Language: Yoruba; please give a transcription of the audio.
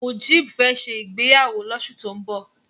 Mujeeb fẹ́ ṣe ìgbéyàwó lóṣù tó ń bọ̀.